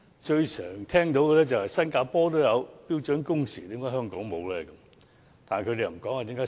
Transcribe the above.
最經常聽到的是新加坡也有標準工時，為何香港沒有？